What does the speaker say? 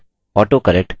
autocorrect